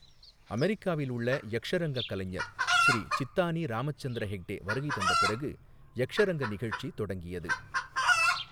அமெரிக்காவில் உள்ள யக்ஷரங்க கலைஞர் ஸ்ரீ சித்தானி ராமச்சந்திர ஹெக்டே வருகை தந்த பிறகு யக்ஷரங்க நிகழ்ச்சி தொடங்கியது.